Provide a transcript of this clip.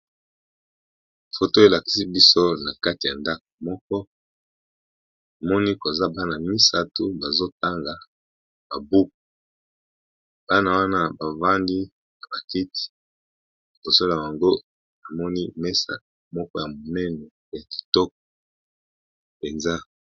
Foto elakisi biso na kati ya ndaka moko Namoni koza bana misatu bazotanga ba buku, bana wana bavandi na ba kiti liboso na bango namoni mesa moko ya momene ya kitoko penza.